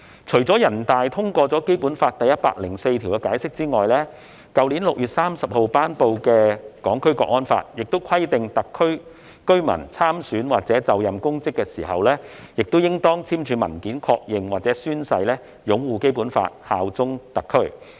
除了全國人大常委會通過《基本法》第一百零四條的解釋外，去年6月30日頒布實施的《香港國安法》亦規定特區居民參選或就任公職時，應當簽署文件確認或宣誓擁護《基本法》，效忠特區。